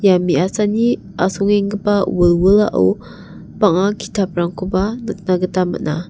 ia me·asani asongenggipa wilwilao bang·a ki·taprangkoba nikna gita man·a.